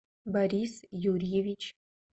борис юрьевич